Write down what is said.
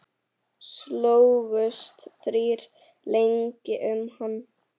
Slógust þrír lengi um hann.